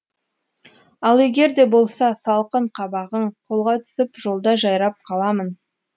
ал егер де болса салқын қабағың қолға түсіп жолда жайрап қаламын